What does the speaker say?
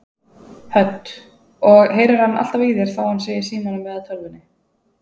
Hödd: Og heyrir hann alltaf í þér þó hann sé í símanum eða tölvunni?